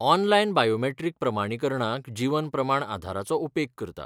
Online biometric प्रमाणीकरणाक जीवन प्रमाण आधाराचो उपेग करता.